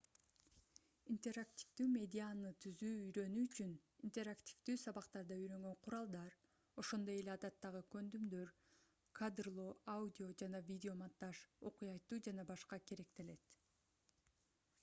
интерактивдүү медианы түзүүнү үйрөнүү үчүн интерактивдүү сабактарда үйрөнгөн куралдар ошондой эле адаттагы көндүмдөр кадрлоо аудио жана видеомонтаж окуя айтуу ж.б. керектелет